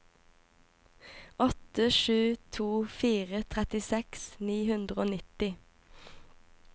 åtte sju to fire trettiseks ni hundre og nitti